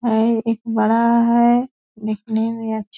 और एक बड़ा है दिखने में अच्छा --